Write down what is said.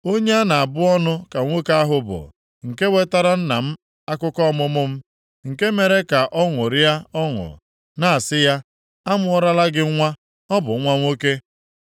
Onye a na-abụ ọnụ ka nwoke ahụ bụ nke wetara nna m akụkọ ọmụmụ m, nke mere ka ọ ṅụrịa ọṅụ, na-asị ya, “A mụọlara gị nwa, ọ bụ nwa nwoke!”